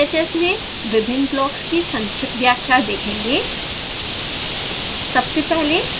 अब हम sbhs में विभिन्न ब्लॉक्स की संक्षिप्त व्याख्या देखेंगे